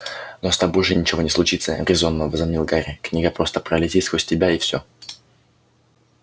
но с тобой же ничего не случится резонно возразил гарри книга просто пролетит сквозь тебя и всё